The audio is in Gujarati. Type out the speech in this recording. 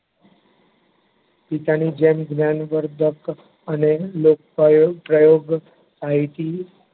પિતાની જેમ જ્ઞાનવર્ધક અને લુપ્ત થયેલ પ્રયોગ, માહિતી